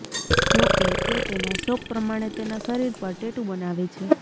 જોકે તે તેના શોખ પ્રમાણે તેના શરીર પર ટેટુ બનાવે છે